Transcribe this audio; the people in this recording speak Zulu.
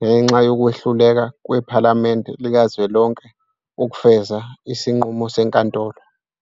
ngenxa yokwehluleka kwePhalamende likazwelonke ukufeza isinqumo seNkantolo.